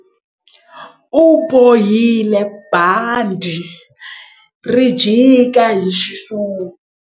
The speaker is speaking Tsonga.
U bohile bandhi ri jika hi xisuti.